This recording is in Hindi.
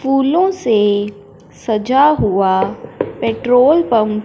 फूलों से सजा हुआ पेट्रोल पंप --